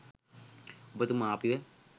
ඔබතුමා අපිව